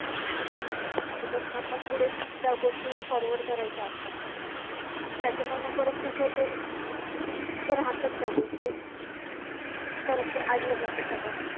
कारण की त्यांना पण पुढे त्या गोष्टी forward करायच्या असतात ना आणि त्याच्यामुळे मग तुझ ते राहतात त्या गोष्टी परत ते अडलं जात सगळ.